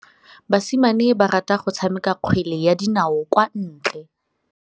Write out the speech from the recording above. Basimane ba rata go tshameka kgwele ya dinaô kwa ntle.